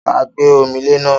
Ta gbé omi lé ná?